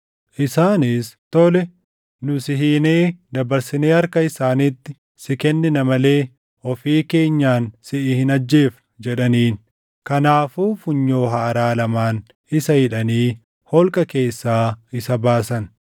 Isaanis, “Tole, nu si hiinee dabarsinee harka isaaniitti si kennina malee ofii keenyaan siʼi hin ajjeefnu” jedhaniin. Kanaafuu funyoo haaraa lamaan isa hidhanii holqa keessaa isa baasan.